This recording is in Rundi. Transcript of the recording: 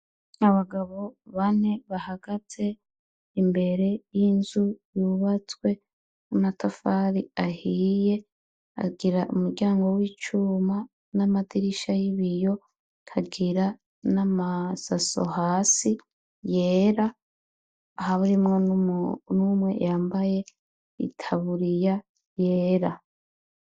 Abagabo bane bahagaze imbere y'inzu yubatswe unatafali ahiye agira umuryango w'icuma n'amadirisha y'ibiyo kagira n'amasaso hasi yera aha burimwo n'umwe yambaye itaburiya yera.